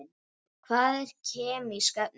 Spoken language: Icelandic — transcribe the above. Hvað eru kemísk efni?